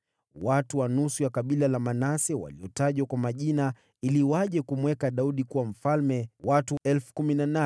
Watu wa nusu ya kabila la Manase, waliotajwa kwa majina ili waje kumweka Daudi kuwa mfalme, watu 18,000.